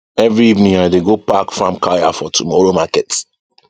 every evening i dey go pack farm kaya for tomorrow market